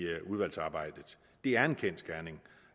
udvalgsarbejdet det er en kendsgerning